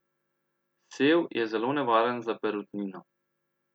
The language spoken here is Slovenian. Sev je zelo nevaren za perutnino.